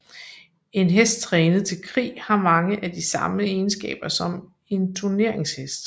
En hest trænet til krig har mange af de samme egenskaber som en turneringshest